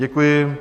Děkuji.